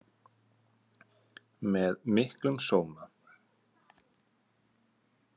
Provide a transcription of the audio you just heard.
Með miklum sóma.